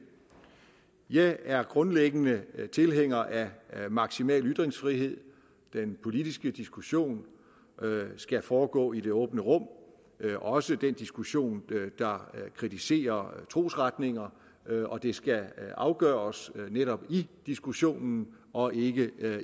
jeg er grundlæggende tilhænger af maksimal ytringsfrihed den politiske diskussion skal foregå i det åbne rum også den diskussion der kritiserer trosretninger og det skal afgøres netop i diskussionen og ikke